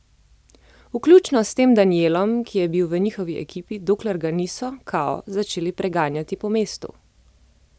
Vključno s tem Danijelom, ki je bil v njihovi ekipi, dokler ga niso, kao, začeli preganjati po mestu.